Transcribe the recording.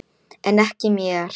En ekki mér.